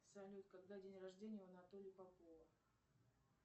салют когда день рождения у анатолия попова